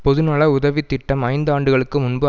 பொதுநல உதவி திட்டம் ஐந்து ஆண்டுகளுக்கு முன்பு